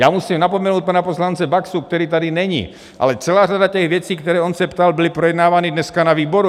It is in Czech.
Já musím napomenout pana poslance Baxu, který tady není, ale celá řada těch věcí, které on se ptal, byla projednávána dneska na výboru.